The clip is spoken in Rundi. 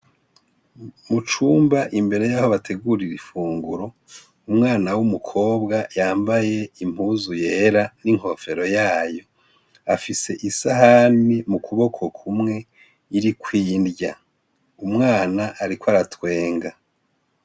Mu cumba, imbere y'aho bategurira imfunguro, umwana w'umukobwa yambaye impuzu yera n'inkofero yayo. Afise isahani mu kuboko kumwe iriko inrya, umwana ariko aratwenga.